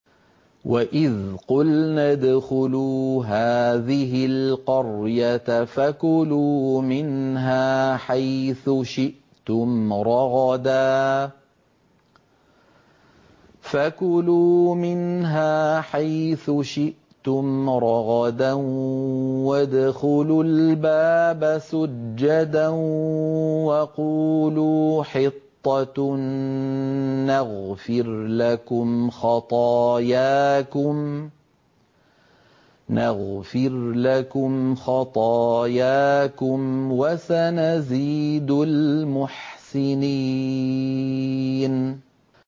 وَإِذْ قُلْنَا ادْخُلُوا هَٰذِهِ الْقَرْيَةَ فَكُلُوا مِنْهَا حَيْثُ شِئْتُمْ رَغَدًا وَادْخُلُوا الْبَابَ سُجَّدًا وَقُولُوا حِطَّةٌ نَّغْفِرْ لَكُمْ خَطَايَاكُمْ ۚ وَسَنَزِيدُ الْمُحْسِنِينَ